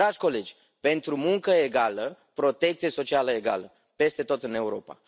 Dragi colegi, pentru muncă egală, protecție socială egală peste tot în Europa!